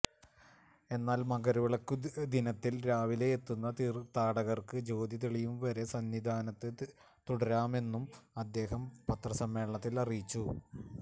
എന്നാൽ മകരവിളക്കുദിനത്തിൽ രാവിലെ എത്തുന്ന തീർത്ഥാടകർക്ക് ജ്യോതി തെളിയുംവരെ സന്നിധാനത്ത് തുടരാമെന്നും അദ്ദേഹം പത്രസമ്മേളനത്തിൽ അറിയിച്ചു